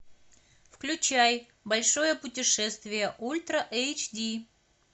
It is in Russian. включай большое путешествие ультра эйч ди